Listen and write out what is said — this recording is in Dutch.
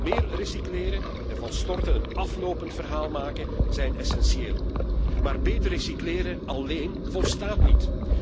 Meer recycleren en van storten een aflopend verhaal maken is essentieel, maar beter recycleren alléén volstaat niet.